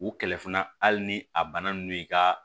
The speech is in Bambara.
U kɛlɛ fana hali ni a bana ninnu y'i ka